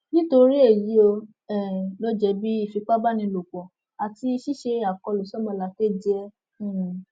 nítorí èyí ò um lọ jẹbi ìfipábánilòpọ àti ṣíṣe àkọlù sómolàkejì ẹ um